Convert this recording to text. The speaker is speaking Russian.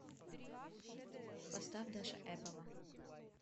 поставь даша эпова